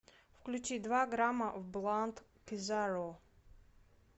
включи два грамма в блант кизару